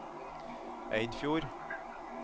Eidfjord